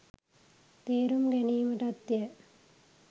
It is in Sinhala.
තේරුම් ගැනීමටත්ය.